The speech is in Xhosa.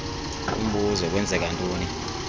umbuzo kwenzeka ntoni